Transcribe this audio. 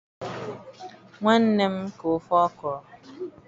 nwanne m ka ofe okro